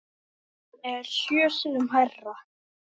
Það er sjö sinnum hærra.